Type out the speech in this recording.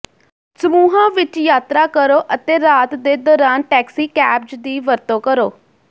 ਸਮੂਹਾਂ ਵਿੱਚ ਯਾਤਰਾ ਕਰੋ ਅਤੇ ਰਾਤ ਦੇ ਦੌਰਾਨ ਟੈਕਸੀ ਕੈਬਜ਼ ਦੀ ਵਰਤੋਂ ਕਰੋ